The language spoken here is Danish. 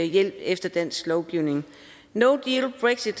efter dansk lovgivning no